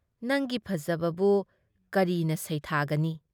ꯅꯪꯒꯤ ꯐꯖꯕꯕꯨ ꯀꯔꯤꯅ ꯁꯩꯊꯥꯒꯅꯤ ?